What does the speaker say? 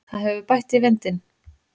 Það hefur bætt í vindinn.